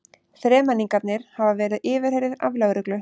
Þremenningarnir hafa verið yfirheyrðir af lögreglu